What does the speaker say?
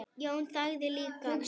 Jón þagði líka.